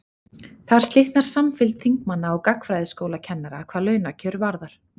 þar slitnar samfylgd þingmanna og gagnfræðaskólakennara hvað launakjör varðar